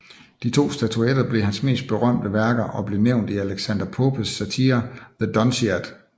De to statuer blev hans mest berømte værker og blev nævnt i Alexander Popes satire The Dunciad